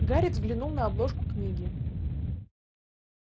гарри взглянул на обложку книги